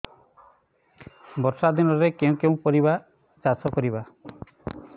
ବର୍ଷା ଦିନରେ କେଉଁ କେଉଁ ପରିବା ଚାଷ କରିବା